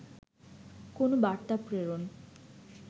কোন বার্তা প্রেরণ